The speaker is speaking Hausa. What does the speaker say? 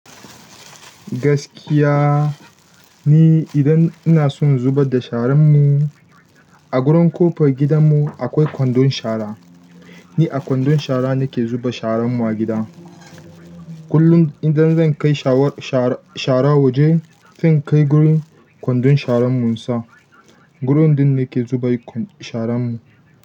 Gaskiya, ni idan ina son zubar da sharan mu. A gurin ƙofar gidanmu akwai kwandon shara. Ni a kwandon shara nake zuba sharanmu a gida. Kullum idan zan kai shawar, shara, shara waje, zan kai gurin kwandon sharan mu, mu sa. Gurin ɗin nake zuba sharan mu.